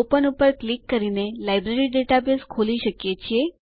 ઓપેન ઉપર ક્લિક કરીને library database ખોલી શકો છો